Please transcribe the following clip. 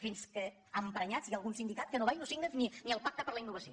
fins que emprenyats hi ha algun sindicat que va i no signa ni el pacte per la innovació